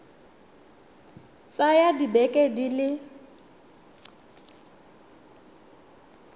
ka tsaya dibeke di le